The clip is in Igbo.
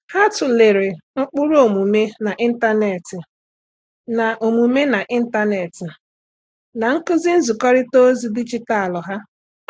Há tụ́lèrè ụ́kpụ́rụ́ ọ́mụ́mé n’ị́ntánétị̀ na ọ́mụ́mé n’ị́ntánétị̀ na nkuzi nzikọrịta ozi dijitalụ ha.